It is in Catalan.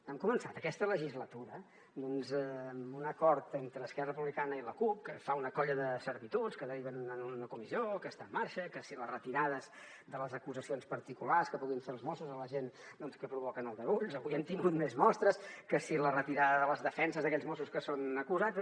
han començat aquesta legislatura amb un acord entre esquerra republicana i la cup que fa una colla de servituds que deriven en una comissió que està en marxa que si les retirades de les acusacions particulars que puguin fer els mossos a la gent que provoquen aldarulls avui n’hem tingut més mostres que si la retirada de les defenses d’aquells mossos que són acusats